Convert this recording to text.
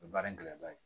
O ye baara in gɛlɛma ye